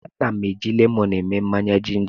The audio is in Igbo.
Ana m eji lemọnụ eme mmanya jinja.